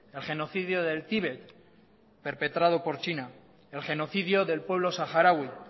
el genocidio del tíbet perpetrado por china el genocidio del pueblo saharaui